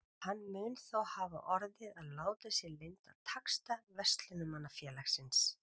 Hann mun þó hafa orðið að láta sér lynda taxta Verslunarmannafélagsins.